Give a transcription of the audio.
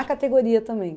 A categoria também.